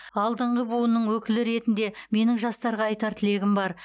алдыңғы буынның өкілі ретінде менің жастарға айтар тілегім бар